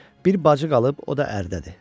Bir bacı qalıb, o da ərdədir.